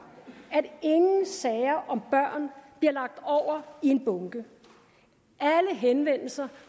at ingen sager om børn bliver lagt over i en bunke alle henvendelser